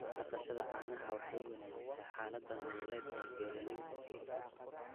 Dhaqashada caanaha waxay wanaajisaa xaaladda nololeed ee beeralayda.